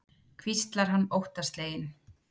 hvíslar hann óttasleginn.